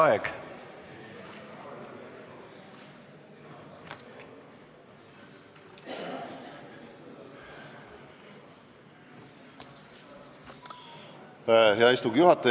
Hea istungi juhataja!